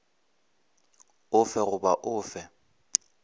o fe goba o fe